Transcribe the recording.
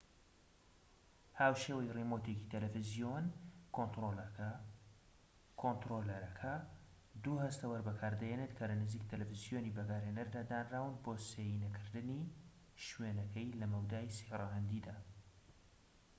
هاوشێوەی ڕیمۆتێکی تەلەفزیۆن، کۆنتڕۆلەرەکە دوو هەستەوەر بەکاردەهێنێت کە لە نزیک تەلەفزیۆنی بەکارهێنەردا دانراون بۆ سێینەکردنی شوێنەکەی لە مەودای سێ ڕەهەندیدا‎